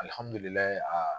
Alihamudulila